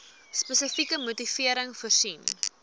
spesifieke motivering voorsien